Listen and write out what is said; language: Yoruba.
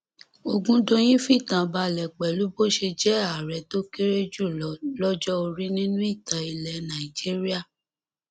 ọgùndọyìn fìtàn balẹ pẹlú bó ṣe jẹ ààrẹ tó kéré jù lọ lọjọ orí nínú ìtàn ilẹ nàìjíríà